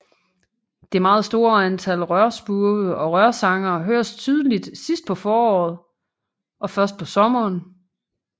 Det meget store antal rørspurve og rørsangere høres tydeligt sidst på foråret og først på sommeren